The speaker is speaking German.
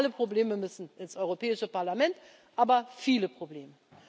Nicht alle Probleme müssen ins Europäische Parlament, aber viele Probleme.